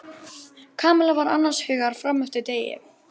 Kamilla var annars hugar fram eftir degi.